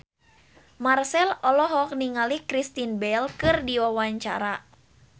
Marchell olohok ningali Kristen Bell keur diwawancara